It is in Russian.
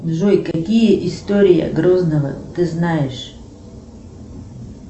джой какие истории грозного ты знаешь